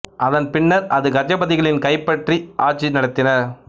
அதன் பின்னர் அது கஜபதிகளின் கைப் பற்றி ஆட்சி நடத்தினர்